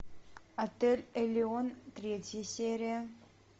отель элеон третья серия